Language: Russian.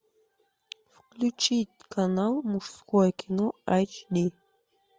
включить канал мужское кино эйч ди